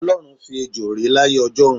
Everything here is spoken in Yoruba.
O̩ló̩run fi ejo ré láyé o̩jó̩un.